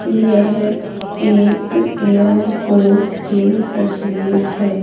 यह एक एयरपोर्ट की तस्वीर है।